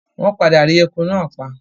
Wọ́n padà rí ẹku náà pa.